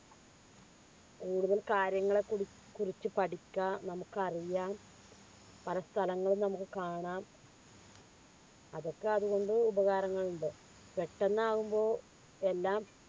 കാര്യങ്ങളെക്കുറിച്ച് പഠിക്കാൻ നമുക്കറിയാം പലസ്ഥലങ്ങളിലും നമുക്ക് കാണാം അതൊക്കെ അതുകൊണ്ട് ഉപകാരങ്ങൾ ഉണ്ട് പെട്ടെന്ന് ആവുമ്പോ എല്ലാം